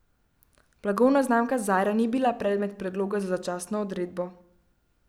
Blagovna znamka Zarja ni bila predmet predloga za začasno odredbo.